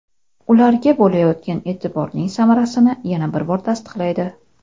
ularga bo‘layotgan eʼtiborning samarasini yana bir bor tasdiqlaydi.